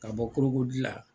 Ka bɔ la.